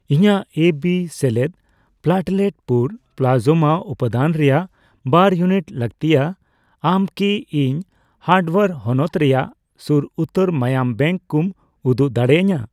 ᱤᱧᱟᱜ A B ᱥᱮᱞᱮᱫ platelet ᱯᱩᱨ ᱯᱞᱟᱥᱚᱢᱟ ᱩᱯᱟᱹᱫᱟᱹᱱ ᱨᱮᱭᱟᱜ ᱵᱟᱨ ᱤᱭᱩᱱᱤᱴ ᱞᱟᱹᱜᱛᱤᱭᱟ, ᱟᱢ ᱠᱤ ᱤᱧ ᱦᱟᱨᱰᱣᱭᱟᱨ ᱦᱚᱱᱚᱛ ᱨᱮᱭᱟᱜ ᱥᱩᱨ ᱩᱛᱟᱹᱨ ᱢᱟᱸᱭᱟᱸᱢ ᱵᱮᱝᱠ ᱠᱩᱢ ᱩᱫᱩᱜ ᱫᱟᱲᱮᱭᱟᱹᱧᱟ ?